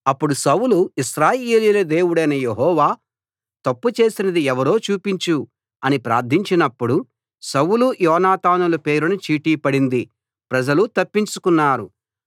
అప్పుడు సౌలు ఇశ్రాయేలీయుల దేవుడవైన యెహోవా తప్పు చేసినది ఎవరో చూపించు అని ప్రార్థించినపుడు సౌలు యోనాతానుల పేరున చీటీ పడింది ప్రజలు తప్పించుకున్నారు